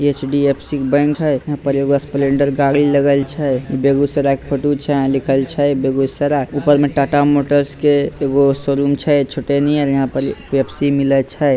HDFC. Bank है यहाँ पर एगो स्प्लेंडर गाड़ी लगाल छै बेगूसराय के फाटो छै यहां लिख़ल छै बेगूसराय ऊपर में टाटा मोटर्स के एगो शोरूम छै छोटे नियर यहां पर पेप्सी मिले छै।